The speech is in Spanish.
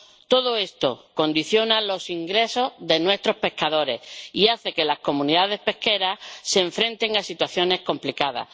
Todo esto condiciona los ingresos de nuestros pescadores y hace que las comunidades pesqueras se enfrenten a situaciones complicadas.